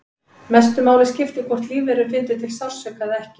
Mestu máli skipti hvort lífverur fyndu til sársauka eða ekki.